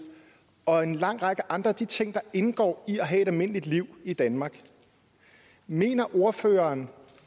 og en lang række andre af de ting der indgår i at have et almindeligt liv i danmark mener ordføreren